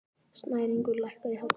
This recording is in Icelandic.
Snæringur, lækkaðu í hátalaranum.